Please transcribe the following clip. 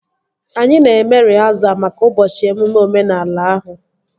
Anyị na-eme rịhasal maka ụbọchị emume omenala ahụ